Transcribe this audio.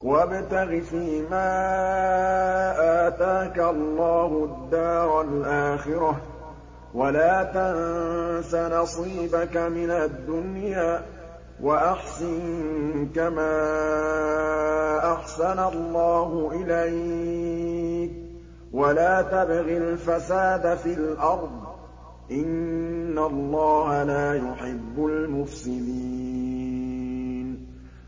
وَابْتَغِ فِيمَا آتَاكَ اللَّهُ الدَّارَ الْآخِرَةَ ۖ وَلَا تَنسَ نَصِيبَكَ مِنَ الدُّنْيَا ۖ وَأَحْسِن كَمَا أَحْسَنَ اللَّهُ إِلَيْكَ ۖ وَلَا تَبْغِ الْفَسَادَ فِي الْأَرْضِ ۖ إِنَّ اللَّهَ لَا يُحِبُّ الْمُفْسِدِينَ